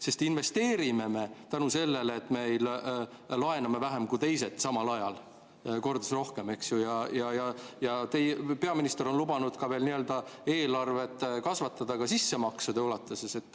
Sest me investeerime tänu sellele, et me laename vähem kui teised samal ajal, kordades rohkem, eks ju, ja peaminister on lubanud eelarvet kasvatada ka sissemaksude ulatuses.